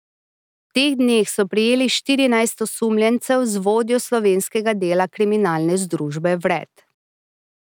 V teh dneh so prijeli štirinajst osumljencev z vodjo slovenskega dela kriminalne združbe vred.